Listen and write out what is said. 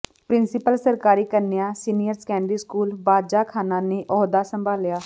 principal ਸਰਕਾਰੀ ਕੰਨਿਆ senior secondary school Bajakhana ਨੇ ਅਹੁਦਾ ਸੰਭਾਲਿਆ